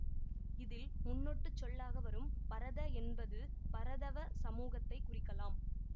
இதில் முன்னொட்டுச் சொல்லாக வரும் பரத என்பது பரதவ சமூகத்தைக் குறிக்கலாம்